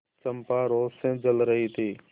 चंपा रोष से जल रही थी